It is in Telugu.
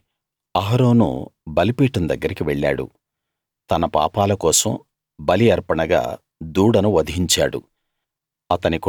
కాబట్టి అహరోను బలిపీఠం దగ్గరికి వెళ్ళాడు తన పాపాల కోసం బలి అర్పణగా దూడను వధించాడు